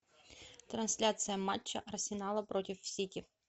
трансляция матча арсенала против сити